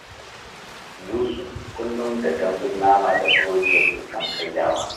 Yusuf kullum da dambun nama da burodi yake son karyawa